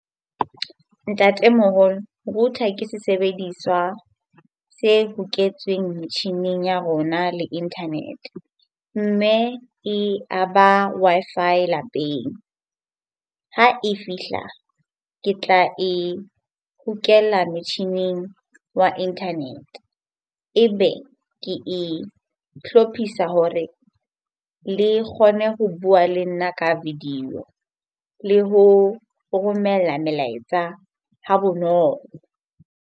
Ntatemoholo, router ke sesebediswa se loketsweng metjhineng ya rona le Internet mme e a ba Wi-Fi lapeng, ha e fihla ke tla e hokela metjhining wa internet ebe ke ihlophisa hore le kgone ho bua le nna ka video le ho romella melaetsa ha bonolo.